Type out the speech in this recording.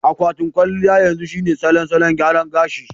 Akwatin kwalliya yanzu shine salon salon gyara gashi.